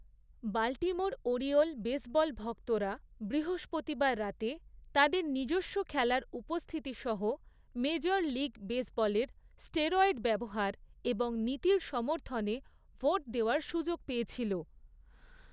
Baltimore Oriole baseball ভক্তরা বৃহস্পতিবার রাতে তাদের নিজস্ব খেলার উপস্থিতি সহ মেজর লীগ বেসবলের স্টেরয়েড ব্যবহার এবং নীতির সমর্থনে ভোট দেওয়ার সুযোগ পেয়েছিল।